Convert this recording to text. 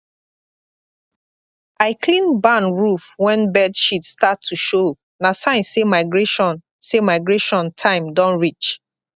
i clean barn roof when bird shit start to showna sign say migration say migration time don reach